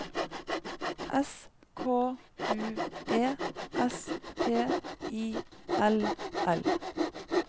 S K U E S P I L L